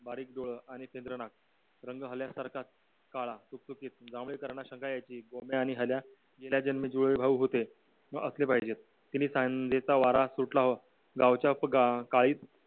बारीक डोळ आणि चंद्र नाक रंग गेल्यासारखाच काढा गोंब्या आणि हल्या गेल्या जन्मी जुळे भाऊ होते व असेल पाहिजे संदेचा वरा सुटला गावच्या